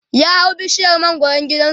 ya hau bishiyar mangwaran gidansu